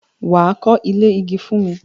Wà á kọ́ ilé igi fún mi!